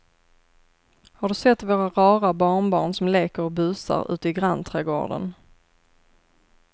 Har du sett våra rara barnbarn som leker och busar ute i grannträdgården!